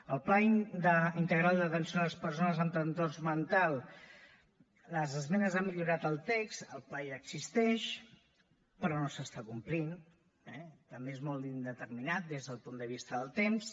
el pla integral d’atenció a les persones amb trastorn mental les esmenes han millorat el text el pla ja existeix però no s’està complint eh també és molt indeterminat des del punt de vista del temps